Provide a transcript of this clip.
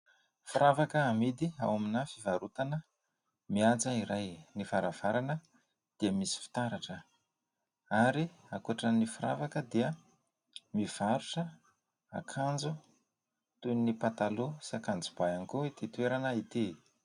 Firavaka amidy ao amin'ny fivarotana mihaja iray. Ny varavarana dia misy fitaratra ary ankoatran'ny firavaka dia mivarotra akanjo toy ny pataloha sy akanjo ba ihany koa ity toerana ity.